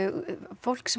fólk sem